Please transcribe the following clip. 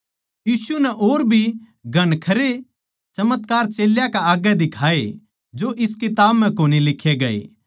यीशु नै और भी घणखरे चमत्कार चेल्यां कै आग्गै दिखाए जो इस किताब म्ह कोनी लिक्खे गए